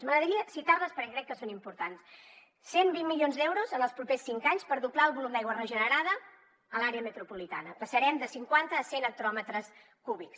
m’agradaria citar les perquè crec que són importants cent i vint milions d’euros en els propers cinc anys per doblar el volum d’aigua regenerada a l’àrea metropolitana passarem de cinquanta a cent hectòmetres cúbics